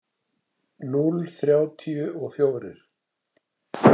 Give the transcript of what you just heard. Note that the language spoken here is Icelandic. Núll þrjátíu og fjórir.